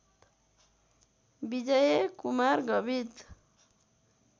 Vijay Kumar Gavit